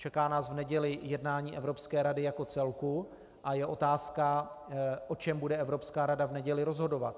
Čeká nás v neděli jednání Evropské rady jako celku a je otázka, o čem bude Evropská rada v neděli rozhodovat.